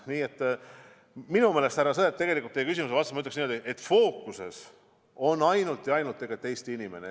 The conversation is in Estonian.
Nii et, härra Sõerd, tegelikult ma ütleksin teie küsimuse vastuseks niimoodi: fookuses on ainult ja ainult Eesti inimene.